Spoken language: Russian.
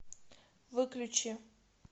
выключи